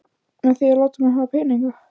Með því að láta mig hafa peninga?